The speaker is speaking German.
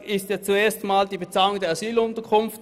Es geht um die Bezahlung der Asylunterkunft.